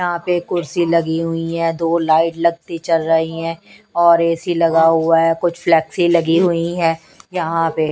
यहां पे कुर्सी लगी हुई है दो लाइट लगती चल रही हैं और ऐ सी लगा हुआ है कुछ फ्लेक्सी लगी हुई हैं यहां पे--